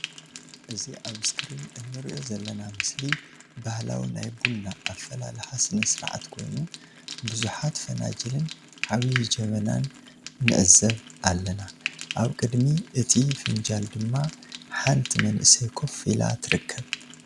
እዚ ኣብ እስክሪን እንሪኦ ዘለና ምስሊ ባህላዊ ናይ ቡና ኣፈላልሓ ስነ ስርዓት ኮይኑ ቡዝሓት ፈናጅልን ዓብይ ጀበናን ንዕዘብ ኣለና ኣብ ቅድሚ እቲ ፈናጅል ድማ ሓንቲ መንእሰይ ከፍ ኢላ ትርከብ።